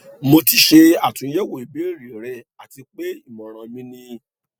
mo ti ṣe atunyẹwo ibeere rẹ ati pe imọran mi ni